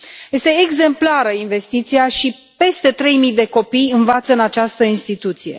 Este exemplară investiția și peste trei mii de copii învață în această instituție.